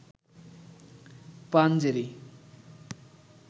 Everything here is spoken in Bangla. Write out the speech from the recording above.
পাঞ্জেরী